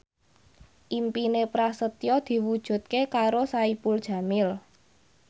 impine Prasetyo diwujudke karo Saipul Jamil